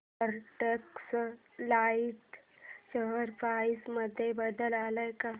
Arrow Textiles share price मध्ये बदल आलाय का